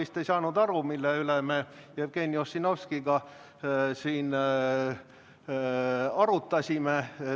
Te vist ei saanud aru, mille üle me Jevgeni Ossinovskiga siin arutasime.